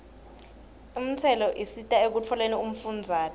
intselo isita ekutfoleni umfundzate